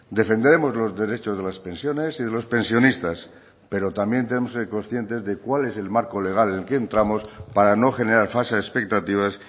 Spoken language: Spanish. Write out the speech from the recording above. defenderemos los derechos de las pensiones y de los pensionistas pero también tenemos que ser conscientes de cuál es el marco legal en el que entramos para no generar falsas expectativas